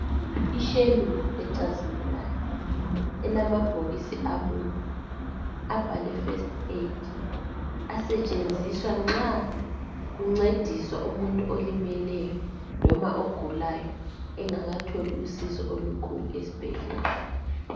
Ishelufu ecazimulayo elamabhokisi abomvu abhalwe first aid asetshenziswa nxa kuncediswa umuntu olimeleyo loba ogulayo engakatholi usizo olukhulu esibhedlela.